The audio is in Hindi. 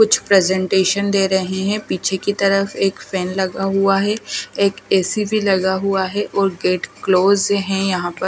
कुछ प्रेज़ेंटेशन दे रहे हैं पीछे की तरफ एक फैन लगा हुआ है एक एसी भी लगा हुआ है और गेट क्लोज है यहाँ पर।